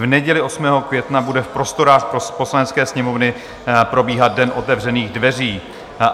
V neděli 8. května bude v prostorách Poslanecké sněmovny probíhat den otevřených dveří.